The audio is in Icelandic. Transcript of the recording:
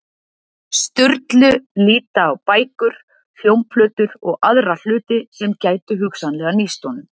Sturlu líta á bækur, hljómplötur og aðra hluti sem gætu hugsanlega nýst honum.